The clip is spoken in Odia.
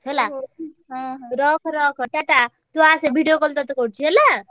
ହେଲା ରଖ ରଖ ଟାଟା ତୁ ଆସେ video call ତତେ କରୁଛି ହେଲା।